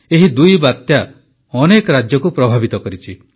ଏହି ଦୁଇ ବାତ୍ୟା ଅନେକ ରାଜ୍ୟକୁ ପ୍ରଭାବିତ କରିଛି